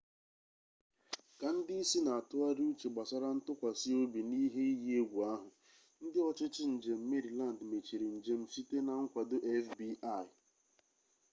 ka ndị isi na-atụgharị uche gbasara ntụkwasị obi n'ihe iyi egwu ahụ ndị ọchịchị njem meriland mechiri njem site na nkwado fbi